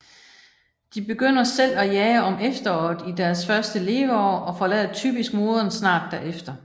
De begynder selv at jage om efteråret i deres første leveår og forlader typisk moderen snart derefter